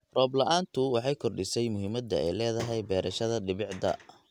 Roob la'aantu waxay kordhisay muhiimadda ay leedahay beerashada dhibicda.